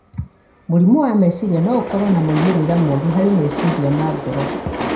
Mũrimũ wa meciria no ũkorũo na moimĩrĩro moru harĩ meciria na ngoro.